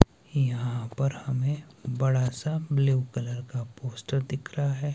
यहां पर हमें बड़ा सा ब्लू कलर का पोस्टर दिख रहा है।